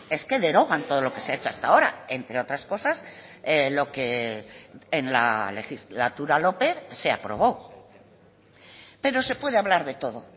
es que derogan todo lo que se ha hecho hasta ahora entre otras cosas lo que en la legislatura lópez se aprobó pero se puede hablar de todo